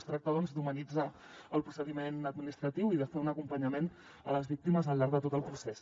es tracta doncs d’humanitzar el procediment administratiu i de fer un acompanyament a les víctimes al llarg de tot el procés